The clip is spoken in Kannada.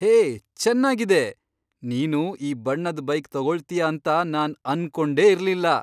ಹೇ, ಚೆನ್ನಾಗಿದೆ! ನೀನು ಈ ಬಣ್ಣದ್ ಬೈಕ್ ತಗೊಳ್ತೀಯ ಅಂತ ನಾನ್ ಅನ್ಕೊಂಡೇ ಇರ್ಲಿಲ್ಲ.